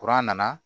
nana